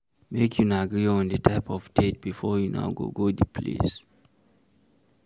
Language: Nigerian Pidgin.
Make una agree on di type of date before una go go di place